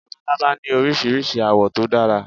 Labalábá ní Oríṣiríṣi àwọ̀ tó dára.